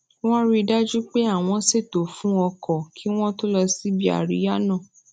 wón rí i dájú pé àwọn ṣètò fun oko kí wón tó lọ síbi àríyá náà